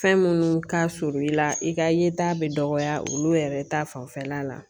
Fɛn minnu ka surun i la i ka yeta bɛ dɔgɔya olu yɛrɛ ta fanfɛla la